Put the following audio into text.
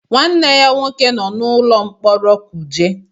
Nwanne ya nwoke nọ n'ụlọ mkpọrọ Kuje.